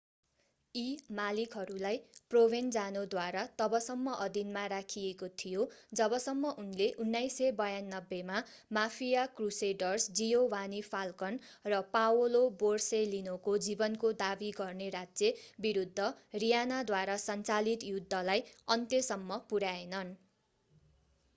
यी मालिकहरूलाई प्रोभेन्जानोद्वारा तबसम्म अधीनमा राखिएको थियो जबसम्म उनले 1992 मा माफिया क्रुसेडर्स जियोवानी फाल्कन र पाओलो बोरसेलिनोको जीवनको दाबी गर्ने राज्य विरूद्ध रीयनाद्वारा सञ्चालित युद्धलाई अन्त्यसम्म पुर्‍याएनन्।